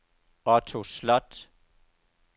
Otto Sloth